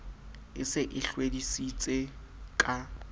e se e hlwedisitse ka